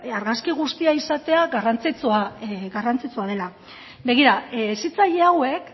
argazki guztia izatea garrantzitsua dela begira hezitzaile hauek